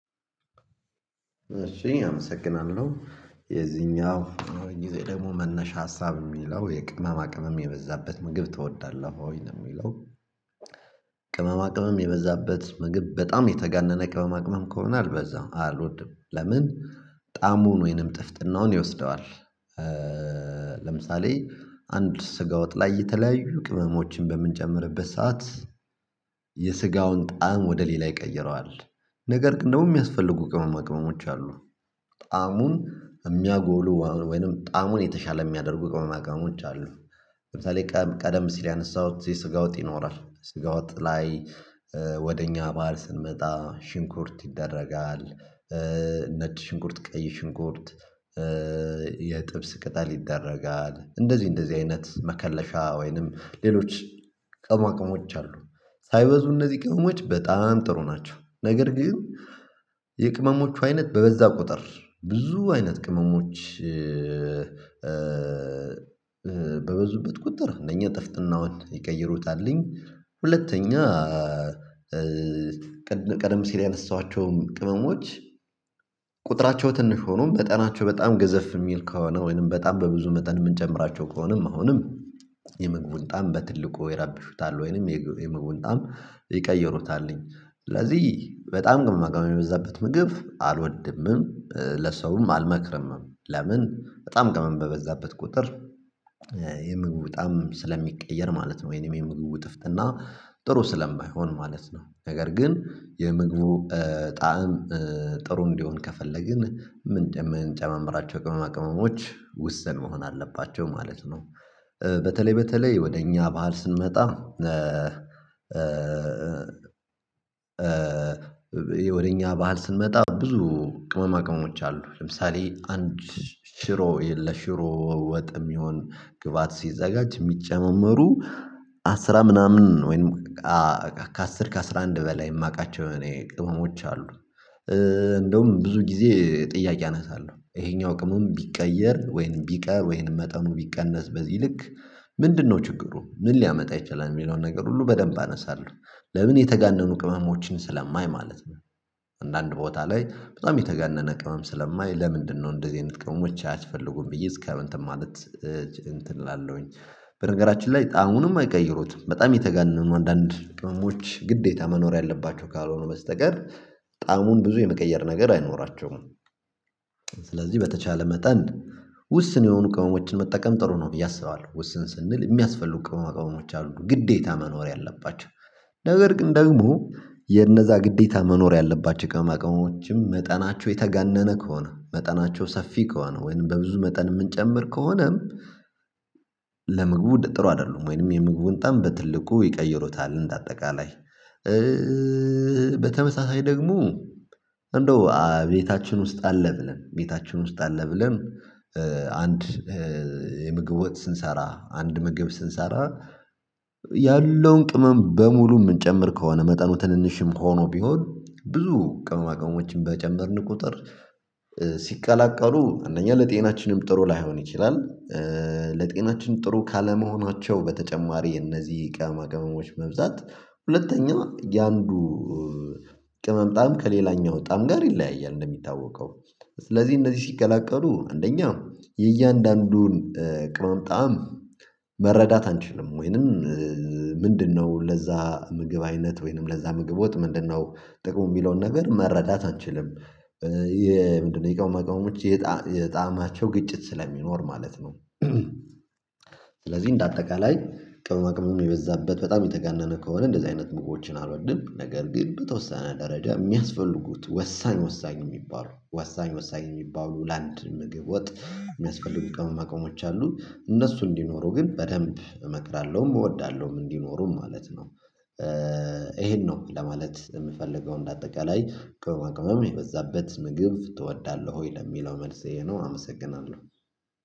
እሺ አመሰግናለሁ የዚኛው የዚህ ደግሞ መነሻ ሀሳብ የሚለው የቅመማ ቅመም የበዛበት ምግብ ትወዳለህ ወይ ነው የሚለው? ቅመማ ቅመም የበዛበት ምግብ በጣም የተጋነነ ቅመማ ቅመም ከሆነ አልበዛም አልወድም ለምን ጣዕሙን ወይም ጥፍጥናውን ይወስደዋል። ለምሳሌ አንድ ስጋወጥ ላይ የተለያዩ ቅመሞችን በምንጨምርበት ሰዓት የስጋውን ጣዕም ወደ ሌላ ይቀይረዋል። ነገር ኝ ደግሞ የሚያስፈልጉ ቅመማ ቅመሞች አሉ። ጣዕሙን የሚያጎሉ ወይም ጣዕሙን የተሻለ የሚያደርጉ ቅመማ ቅመሞች አሉ። ለምሳሌ ቀደም ሲል ያነሳሁት የስጋ ወጥ ይኖራል ስጋ ወጥ ላይ ወደ እኛ ባህል ስንመጣ ሽንኩርት ይደረጋል። ነጭ ሽንኩርት ቀይ ሽንኩርት ቅጠል ይደረጋል እንደዚህ እንደዚህ አይነት መከለሻ ወይም ሌሎች ቅመማ ቅመሞች አሉ። ሳይበዙ እነዚህ ቅመሞች በጣም ጥሩ ናቸው ነገር ግን የቅመሞቹ አይነት በበዛ ቁጥር ብዙ አይነት ቅመሞች በበዙበት ቁጥር እነኚህ ጥፍጥናውን ይቀይሩታልኝ። ሁለተኛ ቀደም ሲል ያነሳኋቸውም ቅመሞች ቁጥራቸው ትንሽ ሆኖ መጠናቸው በጣም ገዘፍ የሚል ከሆነ ወይም በጣም በብዙ መጠን የምንጨምራቸው ከሆነም አሁንም የምግቡን ጣዕም በትልቁ ይረብሹታል ወይም የምግቡን ጣዕም ይቀይሩታል። ስለዚህ በጣም ቅመማ ቅመም የበዛበት ምግብ አልወድምም ለሰውም አልመክርምም። ለምን በጣም ቅመም በበዛበት ቁጥር የምግቡ ጣዕም ስለሚቀየር ማለት ነው ወይም የምግብ ጥፍጥና ጥሩ ስለማይሆን ማለት ነው። ነገር ግን የምግቡ ጣዕም ጥሩ እንዲሆን ከፈለግን ምንጨማምራቸው ቅመማ ቅመሞች ውስን መሆን አለባቸው ማለት ነው። በተለይ በተለይ ወደ እኛ ባህል ስንመጣ ወደ እኛ ባህል ስንመጣ ብዙ ቅመማ ቅመሞች አሉ ለምሳሌ አንድ ሽሮ ለሽሮ ወጥ የሚሆን ግብአት ሲዘጋጅ የሚጨመሩ አስራ ምናምን ወይም ከአስር ከአስራ አንድ በላይ የማውቃቸው እኔ ቅመሞች አሉ። እንደውም ብዙ ጊዜ ጥያቄ አነሳለሁ ይሄኛው ቅመም ቢቀየር ወይም ቢቀር ወይም መጠኑ ቢቀነስ በዚህ ልክ ምንድነው ችግሩ ምን ሊያመጣ ይችላል የሚለውን ነገር ሁሉ በደንብ አነሳለሁ። ለምን የተጋነኑ ቅመሞችን ስለማይ ማለት ነው አንዳንድ ቦታ ላይ በጣም የተጋነነ ቅመም ስለማይ ለምንድነው እንደዚህ አይነት ቅመሞች አያስፈልጉም ብዬ እስከ እንትን ማለት እንትን እላለሁኝ። በነገራችን ላይ ጣዕሙንም አይቀይሩትም በጣም የተጋነኑ አንዳንድ ቅመሞች ግዴታ መኖር ያለባቸው ካልሆኑ በስተቀር ጣዕሙን ብዙ የመቀየር ነገር አይኖራቸውም። ስለዚህ በተቻለ መጠን ውስን የሆኑ ቅመሞችን መጠቀም ጥሩ ነው ብዬ አስባለሁ። ውስን ስንል የሚያስፈልጉ ቅመማ ቅመሞች አሉ ግዴታ መኖር ያለባቸው ነገር ግን ደግሞ የነዛ ግዴታ መኖር ያለባቸው ቅመማ ቅመሞችም መጠናቸው የተጋነነ ከሆነ መጠናቸው ሰፊ ከሆነ ወይም በብዙ መጠን የምንጨምር ከሆነም ጥሩ አይደሉም ወይም የምግቡን ጣዕም በትልቁ ይቀይሩታል። እንደ አጠቃላይ በተመሳሳይ ደግሞ እንደው ቤታችን ውስጥ አለ ብለን ቤታችን ውስጥ አለ ብለን አንድ የምግብ ወጥ ስንሰራ አንድ ምግብ ስንሰራ ያለውን ቅመም በሙሉ የምንጨምር ከሆነ መጠኑ ትንሽም ሆኖ ቢሆን ብዙ ቅመማ ቅመሞችን በጨመርን ቁጥር ሲቀላቀሉ አንደኛ ለጤናችንም ጥሩ ላይሆን ይችላል። ለጤናችን ጥሩ ካለመሆናቸው በተጨማሪ እነዚህ ቅመማ ቅመሞች መብዛት ሁለተኛ የአንዱ ቅመም ጣዕም ከሌላኛው ቅመም ጣዕም ጋር ይለያያል እንደሚታወቀው ስለዚህ እነዚህ ሲቀላቀሉ አንደኛ የእያንዳንዱን ቅመም ጣዕም መረዳት አንችልም ወይም ምንድነው ለዛ ምግብ አይነት ወይም ለዛ ምግብ ወጥ ምንድነው ጥቅሙ የሚለውን ነገር መረዳት አንችልም? የጣዕማቸው ግጭት ስለሚኖር ማለት ነው። ስለዚህ እንደ አጠቃላይ ቅማም ቅመም የበዛበት በጣም የተጋነነ ከሆነ እንደዚህ አይነት ምግቦችን አልወድም። ነገር ግን በተወሰነ ደረጃ የሚያስፈልጉት ወሳኝ ወሳኝ የሚባሉ ወሳኝ ወሳኝ የሚባሉ ለአንድ ምግብ ወጥ የሚያስፈልጉ ቅመማ ቅመሞች አሉ እነሱ እንዲኖሩ ግን በደንብ እመክራለሁም እወዳለሁም እንዲኖሩም ማለት ነው። ይሄን ነው ለማለት የምፈልገው እንደ አጠቃላይ ቅመማ ቅመም የበዛበት ምግብ ትወዳለህ ወይ ለሚለው መልስ ይሄ ነው። አመሰግናለሁ